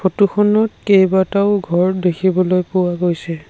ফটোখনত কেইবাটাও ঘৰ দেখিবলৈ পোৱা গৈছে।